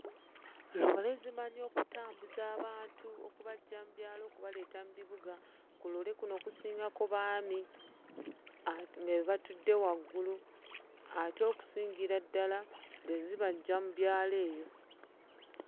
Loole zimanyi okutambuza abantu okubaggya mu byalo okubaleeta mu bibuga. Ku loole kuno kusingako baami nga be batudde waggulu ate okusingira ddala nga zibaggya mu byalo eyo.